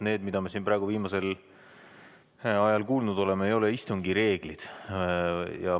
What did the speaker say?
Need, mida me siin viimasel ajal kuulnud oleme, ei ole istungi reeglite kohta.